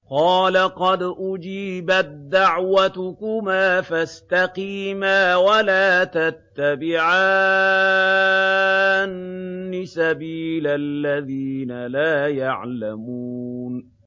قَالَ قَدْ أُجِيبَت دَّعْوَتُكُمَا فَاسْتَقِيمَا وَلَا تَتَّبِعَانِّ سَبِيلَ الَّذِينَ لَا يَعْلَمُونَ